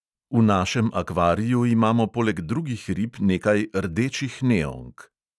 V našem akvariju imamo poleg drugih rib nekaj rdečih neonk.